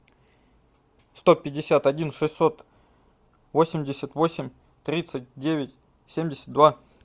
сто пятьдесят один шестьсот восемьдесят восемь тридцать девять семьдесят два